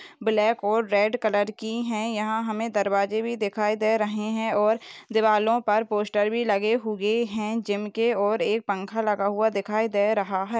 Black ओर red colour की है यहा हमे दरवाजे भी दिखाई दे रहे है और दिवारो पर पोस्टर भी लगे हुए है जिनके और एक पंखा लगा हुआ दिखाई दे रहा है।